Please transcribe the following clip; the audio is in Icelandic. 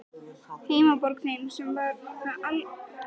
Heimaborg þín, sem var það þó aldrei.